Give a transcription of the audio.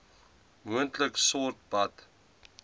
moontlik stort bad